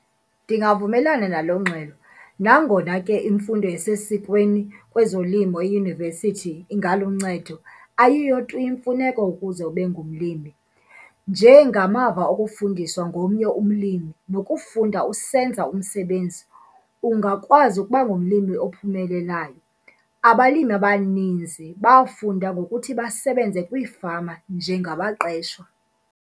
Ndingavumelana nalo ngxelo nangona ke imfundo esesikweni kwezolimo eyunivesithi ingaluncedo ayiyo tu imfuneko ukuze ube ngumlimi. Nje ngamava okufundiswa ngomnye umlimi nokufunda usenza umsebenzi, ungakwazi ukuba ngumlimi ophumelelayo. Abalimi abaninzi bafunda ngokuthi basebenze kwiifama njengabaqeshwa.